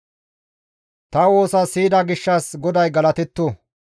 Ta woosa siyida gishshas, GODAY galatetto.